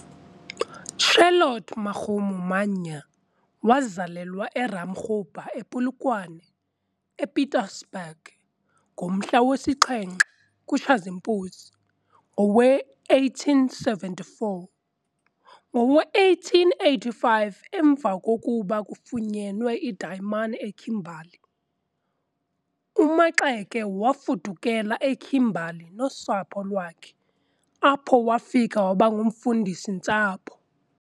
Charlotte Makgomo Mannya wazalelwa eRamakgopa ePolokwane, ePietersburg, ngomhla wesixhenxe kuTshazimpunzi ngowe-1874. Ngowe-1885, emva kokuba kufunyenwe iidayimani eKimberly, uMaxeke wafudukela eKimberly nosapho lwakhe apho wafika wabangumfundisi-ntsapho.